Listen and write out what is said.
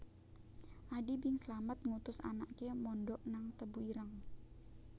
Adi Bing Slamet ngutus anake mondok nang Tebu Ireng